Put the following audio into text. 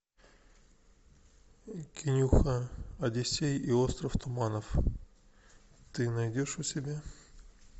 кинюха одиссей и остров туманов ты найдешь у себя